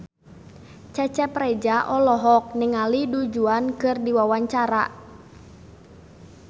Cecep Reza olohok ningali Du Juan keur diwawancara